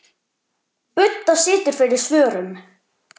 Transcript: Budda situr fyrir svörum.